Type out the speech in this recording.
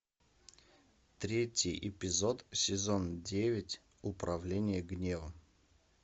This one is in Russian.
третий эпизод сезон девять управление гневом